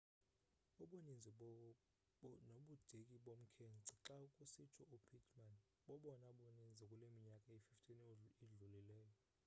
ubuninzi nobudeki bomkhence xa kusitsho u-pittman bobona buninzi kule minyaka iyi-15 idlulileyo